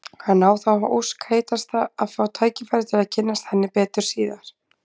Hann á þá ósk heitasta að fá tækifæri til að kynnast henni betur síðar.